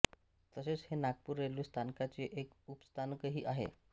तसेच हे नागपूर रेल्वे स्थानकाचे एक उपस्थानकही आहे